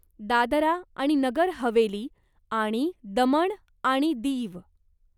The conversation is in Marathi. दादरा आणि नगर हवेली आणि दमण आणि दीव